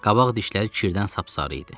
Qabaq dişləri kirdən sap-sarı idi.